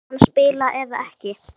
Mun hann spila eða ekki?